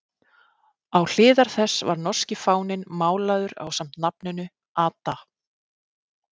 Á hliðar þess var norski fáninn málaður ásamt nafninu Ada